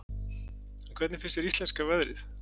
En hvernig finnst þér íslenska veðrið?